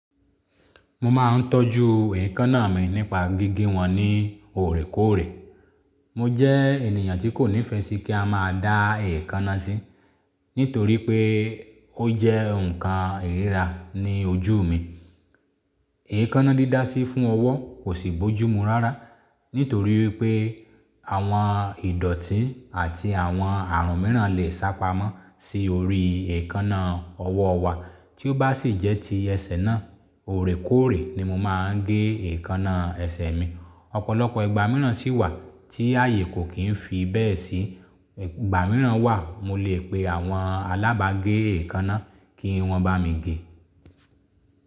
Mo máa ń tọ́jú ẹ̀kánnà mi nípa gíge wọn ní òòrẹ̀kóòrẹ̀. Mo jẹ́ ènìyàn tí kò nífẹ̀ẹ́ sí kí a máa dá ẹ̀kánnà sí, nítorí pé ó jẹ́ nǹkan ìríra ní ojú mi. Ẹ̀kánnà dídá sí fún ọwọ́ kò sì bójúmú rárá, nítorí pé àwọn ìdọ̀tí àti àwọn ààrùn mìíràn lè sápamọ́ sí orí ẹ̀kánnà ọwọ́ wa. Tí ó bá sì jẹ́ ti ẹsẹ̀ náà, òòrẹ̀kóòrẹ̀ ni mo máa ń gé ẹ̀yẹ́kánnà ẹ̀sẹ̀ mi. Ọ̀pọ̀lọpọ̀ ìgbà mìíràn si wà tí ààyè kò kì í fi bẹ́ẹ̀ sí, ìgbà mìíràn wà mo lè pè àwọn alábàágé ẹ̀kánnà kí wọn bá mi gé.